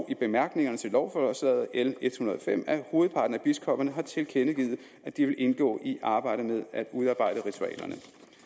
i bemærkningerne til lovforslag l en hundrede og fem at hovedparten af biskopperne har tilkendegivet at de vil indgå i arbejdet med at udarbejde ritualerne